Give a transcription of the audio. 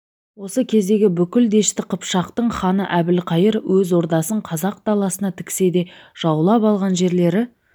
осы кездегі бүкіл дәшті қыпшақтың ханы әбілқайыр өз ордасын қазақ даласына тіксе де жаулап алған жерлері